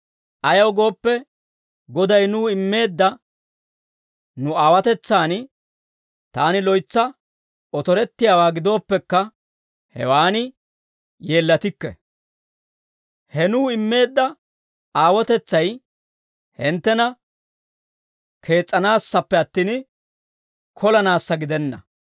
Ayaw gooppe, Goday nuw immeedda nu aawotetsaan taani loytsa otorettiyaawaa gidooppekka, hewan yeellatikke; he nuw immeedda aawotetsay hinttena kees's'anaassappe attin, kolanaassa gidenna.